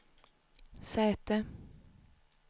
säte